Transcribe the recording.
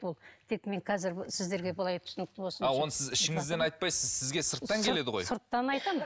ол тек мен қазір сіздерге былай түсінікті болсын а оны сіз ішіңізден айтпайсыз сізге сырттан келеді ғой сырттан айтамын